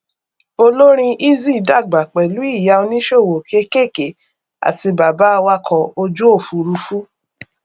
olórin eazi dàgbà pẹlú ìyá oníṣòwò kékèké àti bàbá awakọ ojúòfurufú